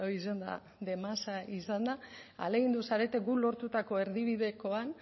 izan da demasa izan da ahalegindu zarete guk lortutako erdibidekoan